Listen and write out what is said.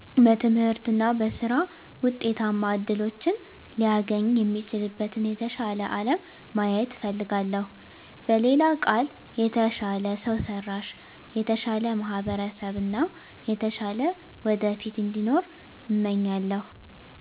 በትምህርት እና በሥራ ውጤታማ እድሎችን ሊያገኝ የሚችልበትን የተሻለ አለም ማየት እፈልጋለሁ። በሌላ ቃል፣ የተሻለ ሰው ሰራሽ፣ የተሻለ ማህበረሰብ እና የተሻለ ወደፊት እንዲኖር እመኛለሁ።